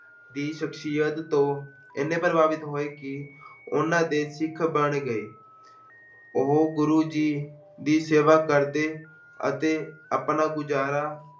ਦੀ ਸ਼ਖਸੀਅਤ ਤੋਂ ਇੰਨੇ ਪ੍ਰਭਾਵਿਤ ਹੋਏ ਕਿ ਉਹਨਾਂ ਦੇ ਸਿੱਖ ਬਣ ਗਏ ਉਹ ਗੁਰੂ ਜੀ ਦੀ ਸੇਵਾ ਕਰਦੇ ਅਤੇ ਆਪਣਾ ਗੁਜ਼ਾਰਾ